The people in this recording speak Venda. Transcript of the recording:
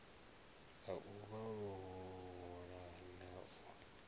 ha u vhalullula na u